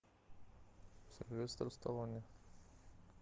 сильвестр сталоне